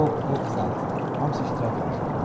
Bob Hop sat, hamısı iştirak edəcək.